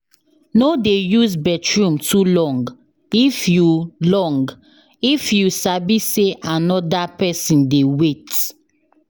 No dey use bathroom too long if you long if you sabi say another pesin dey wait.